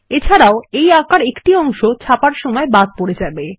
এছাড়াও এর অর্থ এই আঁকার একটি অংশ ছাপার সময় বাদ পরে যাবে